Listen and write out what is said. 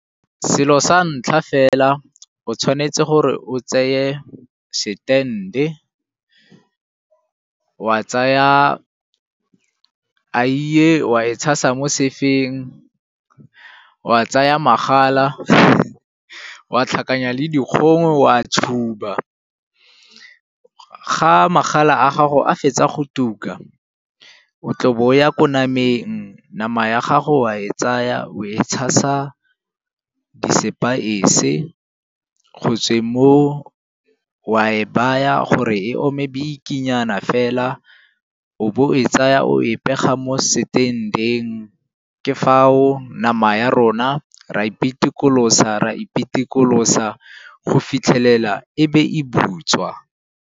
Selo sa ntlha fela o tshwanetse gore o tseye stand-e, wa tsaya eiye wa e tshasa mo sefeng, wa tsaya magala wa tlhakanya le dikgong wa tshuba. Ga magala a gago a fetsa go tuka, o tlabo o ya ko nameng, nama ya gago wa e tsaya o e tshasa di sepaese. Go tsweng moo, wa e baya gore e ome bikinyana fela o bo o e tsaya o e pega bo mo stand-eng. Ke fao nama ya rona ra e pitikolosa, ra e pitikolosa go fitlhelela e be e butswa.